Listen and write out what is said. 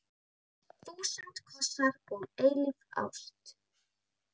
Þúsund kossar og eilíf ást.